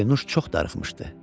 Pərinüş çox darıxmışdı.